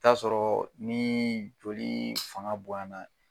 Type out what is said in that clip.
I t'a sɔrɔ ni joli fanga boyan na